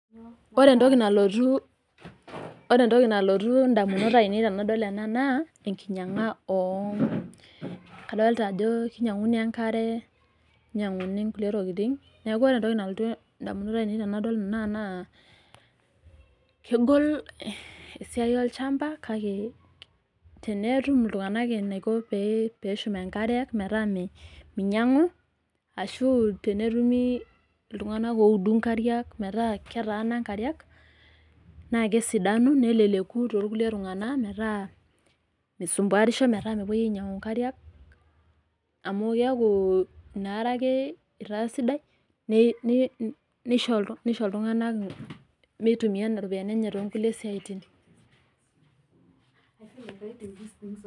Ore entoki nalotu idamunot ainei tenadol enaa naa inkinyang'a oo. Kadolita ajo kinyang'uni enkare ninyang'uni nkulie tokitin neeku ore entokj nalotu idamunot ainei tenadol enaa naa kegol esia olchamba kake tenetum iltung'ana enaiko pee eshum enkare meeta. Minyang'u ashu tenetumi iltung'ana audu inkariak meeta ketana inkariak naa kesidanu neleleku too irkulie tunganak meeta meisumbuarisho meetamepuoi ainyang'u enkiriak amu keeku inaa are ake itaa sidai nisho iltung'ana mitumia nena ropiani enye too kulie siatin.